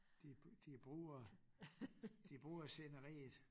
De de bruger de bruger sceneriet